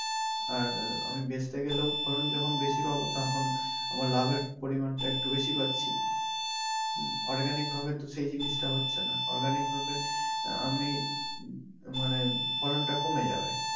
আর আহ আমি বেচতে গেলেও ফলন যখন বেশি পাবো তখন আমার লাভের পরিমান টা একটু বেশি পাচ্ছি উম organic ভাবে তো সেই জিনিস টা হচ্ছে না organic ভাবে আহ আমি উম মানে ফলন টা কমে যাবে।